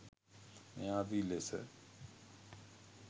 මේ ආදී ලෙස